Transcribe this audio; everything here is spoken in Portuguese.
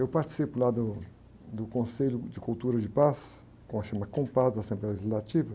Eu participei lá do, do Conselho de Cultura de Paz, com a da Assembleia Legislativa.